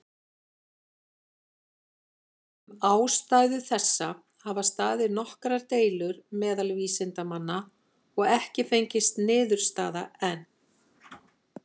Um ástæðu þessa hafa staðið nokkrar deilur meðal vísindamanna, og ekki fengist niðurstaða enn.